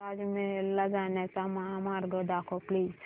ताज महल ला जाण्याचा महामार्ग दाखव प्लीज